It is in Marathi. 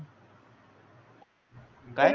काय?